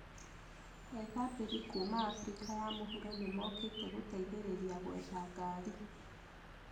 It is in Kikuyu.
Ethabĩri kuuma Afrika ya mũhuro nĩmokite gũtethereria kwetha ngari